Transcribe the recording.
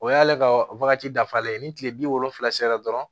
O y'ale ka wagati dafalen ye ni kile bi wolonfila sera dɔrɔn